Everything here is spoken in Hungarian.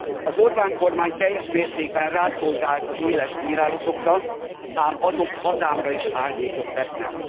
Az Orbán kormány teljes mértékben rászolgált az éles bírálatokra, ám azok hazámra is árnyékot vetnek.